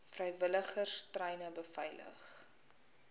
vrywilligers treine beveilig